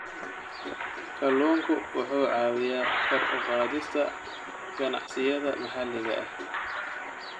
Kalluunku wuxuu caawiyaa kor u qaadista ganacsiyada maxalliga ah.